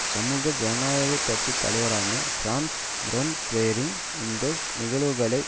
சமூக ஜனநாயக கட்சி தலைவரான பிரான்ஸ் முண்டபெயரிங் இந்த நிகழ்வுகளை